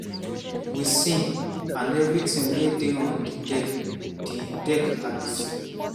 [wey sink] and evritin wey dey on di deck di deck at sea.